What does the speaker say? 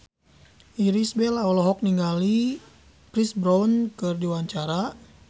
Irish Bella olohok ningali Chris Brown keur diwawancara